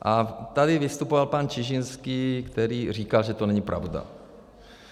A tady vystupoval pan Čižinský, který říkal, že to není pravda.